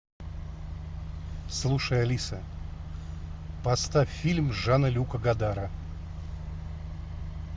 слушай алиса поставь фильм жана люка годара